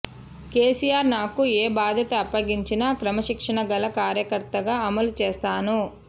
కేసీఆర్ నాకు ఏ బాధ్యత అప్పగించినా క్రమశిక్షణగల కార్యకర్తగా అమలు చేస్తాను